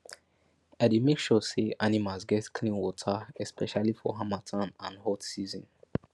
i dey make sure say animals get clean water especially for harmattan and hot season